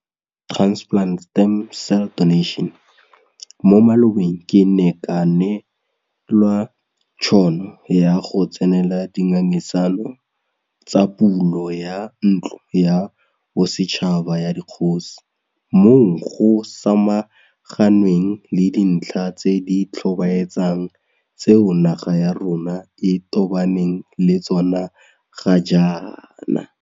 Mo malobeng ke ne ka nee lwa tšhono ya go tsenela di ngangisano tsa pulo ya Ntlo ya Bosetšhaba ya Dikgosi, moo go samaganweng le dintlha tse di tlhobaetsang tseo naga ya rona e tobaneng le tsona ga jaana.